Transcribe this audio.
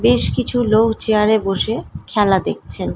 বেশ কিছু লোক চেয়ার -এ বসে খেলা দেখছেন।